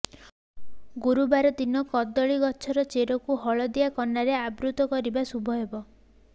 ଗୁରୁବାର ଦିନ କଦଳୀ ଗଛର ଚେରକୁ ହଳଦିଆ କନାରେ ଆବୃତ କରିବା ଶୁଭ ହେବ